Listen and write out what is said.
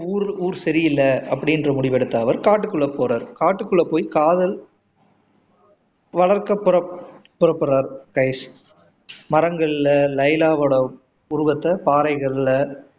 ஊர் சரியில்லை அப்படின்னு முடிவு எடுத்த அவர் காட்டுக்குள்ள போறாரு காட்டுக்குள்ள போய் காதல் வளர்க்க புறப்படுறாரு கைஸ் மரங்கள்ல லைலாவோட உருவத்தை பாறைகள்ல